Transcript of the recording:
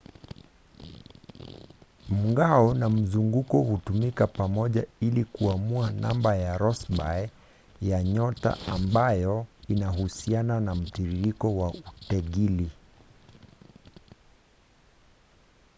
mng'ao na mzunguko hutumika pamoja ili kuamua namba ya rossby ya nyota ambayo inahusiana na mtiririko wa utegili